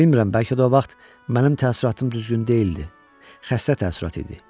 Bilmirəm, bəlkə də o vaxt mənim təəssüratım düzgün deyildi, xəstə təəssürat idi.